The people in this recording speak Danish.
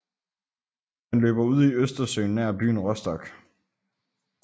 Den løber ud i Østersøen nær byen Rostock